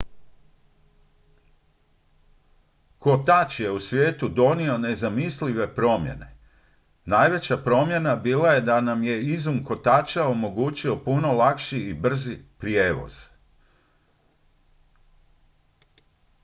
kotač je svijetu donio nezamislive promjene najveća promjena bila je da nam je izum kotača omogućio puno lakši i brži prijevoz